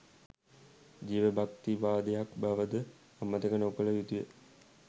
ජීවභක්තිවාදයක් බවද අමතක නොකළ යුතුය.